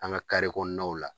An ga la.